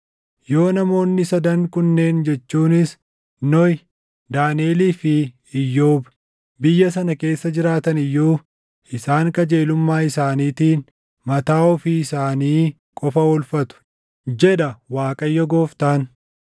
yoo namoonni sadan kunneen jechuunis Nohi, Daaniʼelii fi Iyyoob biyya sana keessa jiraatani iyyuu isaan qajeelummaa isaaniitiin mataa ofii isaanii qofa oolfatu, jedha Waaqayyo Gooftaan.